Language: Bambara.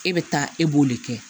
E bɛ taa e b'o de kɛ